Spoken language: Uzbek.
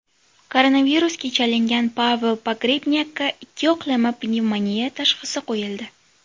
Koronavirusga chalingan Pavel Pogrebnyakka ikkiyoqlama pnevmoniya tashxisi qo‘yildi.